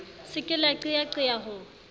se ke la qeyaqeya ho